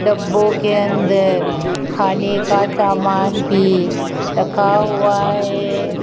डब्बों के अंदर खाने का सामान भी रखा हुआ है।